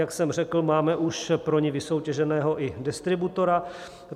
Jak jsem řekl, máme už pro ni vysoutěženého i distributora.